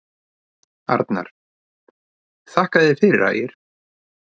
Arnar: Þakka þér fyrir Ægir.